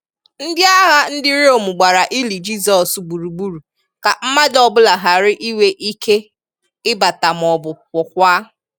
Ndị agha ndị Rōme gbara ili Jisọs gburugburu ka mmadụ ọ́bụla hara inwe ike ịbata ma ọ̀bụ̀ pụọkwa.